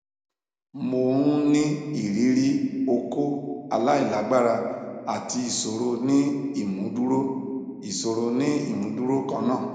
mo n ni iriri okó alailagbara ati iṣoro ni imuduro iṣoro ni imuduro kanna